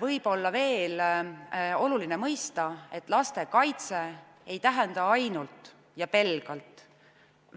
Võib-olla on veel oluline mõista, et lastekaitse ei tähenda ainult ja pelgalt